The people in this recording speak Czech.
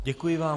Děkuji vám.